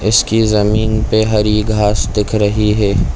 इसकी जमीन पे हरी घास दिख रही है।